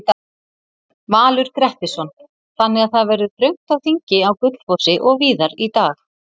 Valur Grettisson: Þannig að það verður þröngt á þingi á Gullfossi og víðar í dag?